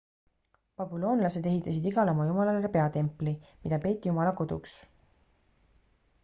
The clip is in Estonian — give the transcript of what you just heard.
babüloonlased ehitasid igale oma jumalale peatempli mida peeti jumala koduks